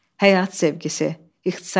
Həyat sevgisi.